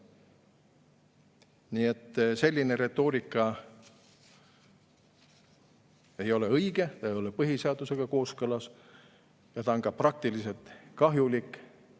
Nii et selline retoorika ei ole õige, ei ole põhiseadusega kooskõlas ja see on ka praktiliselt kahjulik.